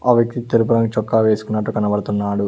ఆ వ్యక్తి తెలుపు రంగు చుక్క వేసుకున్నట్టు కనబడుతున్నాడు.